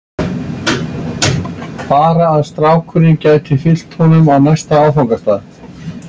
Bara að strákurinn gæti fylgt honum á næsta áfangastað.